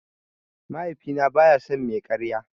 Mahaifina baya son mai karya.